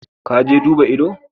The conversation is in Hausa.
Ka je duba ido?